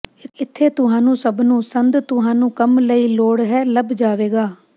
ਇੱਥੇ ਤੁਹਾਨੂੰ ਸਭ ਨੂੰ ਸੰਦ ਤੁਹਾਨੂੰ ਕੰਮ ਲਈ ਲੋੜ ਹੈ ਲੱਭ ਜਾਵੇਗਾ